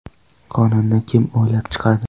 Qonunni kim o‘ylab chiqadi?